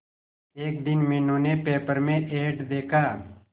एक दिन मीनू ने पेपर में एड देखा